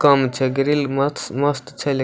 कम छै ग्रिल मस्त मस्त छै लेकिन --